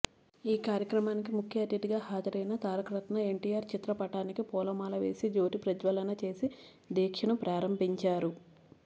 ఈ కార్యక్రమానికి ముఖ్య అతిధిగా హాజరైన తారకరత్న ఎన్టీఆర్ చిత్రపటానికి పూలమాల వేసి జ్యోతి ప్రజ్వలన చేసి దీక్షను ప్రారంభించారు